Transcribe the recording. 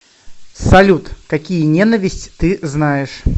салют какие ненависть ты знаешь